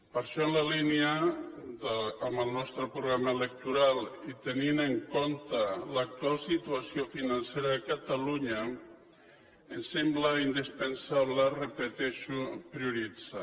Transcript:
per això en la línia del nostre programa electoral i tenint en compte l’actual situació financera a catalunya ens sembla indispensable ho repeteixo prioritzar